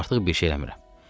Artıq bir şey eləmirəm.